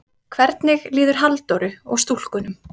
Hvernig líður Halldóru og stúlkunum?